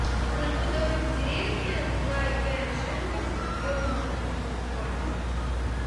молоко домик в деревне два и пять жирность объем ноль два